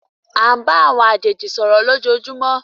À ń bá àwọn àjèjì sọ̀rọ̀ lójoojúmó.